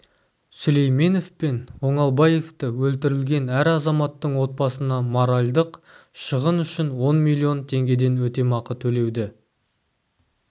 сүлейменов пен оңалбаевты өлтірілген әр азаматтың отбасына моральдық шығын үшін он миллион теңгеден өтемақы төлеуді